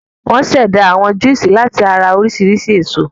Wọ́n ṣẹ̀dá àwọn júúsì láti ara oríṣiríṣi èso.